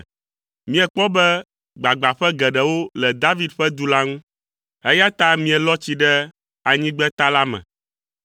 Miekpɔ be gbagbãƒe geɖewo le David ƒe du la ŋu, eya ta mielɔ tsi ɖe anyigbeta la me.